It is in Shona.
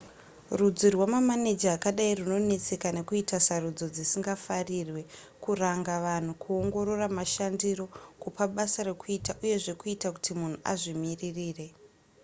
rudzi rwamaneja akadai runonetseka nekuita sarudzo dzisingafarirwe kuranga vanhu kuongorora mashandiro kupa basa rekuita uyezve kuita kuti munhu azvimiririre